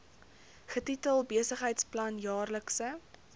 getitel besigheidsplan jaarlikse